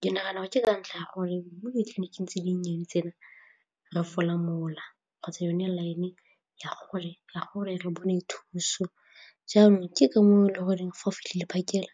Ke nagana gore ke ka ntlha ya gore mo ditleniking tse dinnye di tsena re fola mola kgotsa yone line ya gore re bone thuso jaanong ke ka moo e le goreng fa o fitlhele phakela